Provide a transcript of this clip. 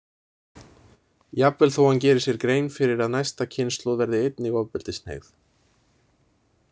Jafnvel þó hann geri sér grein fyrir að næsta kynslóð verði einnig ofbeldishneigð.